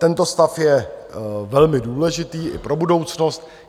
Tento stav je velmi důležitý i pro budoucnost.